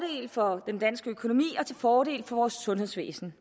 for den danske økonomi og til fordel for vores sundhedsvæsen